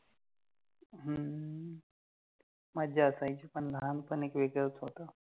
मज्जा असायची पण लहानपणी वेगळच होत